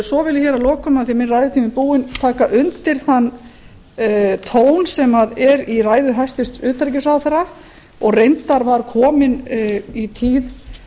svo vil ég hér að lokum af því að minn ræðutími er búinn að taka undir þann tón sem er í ræðu hæstvirts utanríkisráðherra og reyndar var kominn í tíð